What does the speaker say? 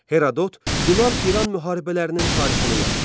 Herodot Yunan-İran müharibələrinin tarixini yazdı.